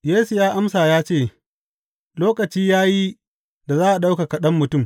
Yesu ya amsa ya ce, Lokaci ya yi da za a ɗaukaka Ɗan Mutum.